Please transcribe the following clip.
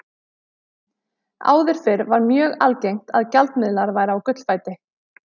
Áður fyrr var mjög algengt að gjaldmiðlar væru á gullfæti.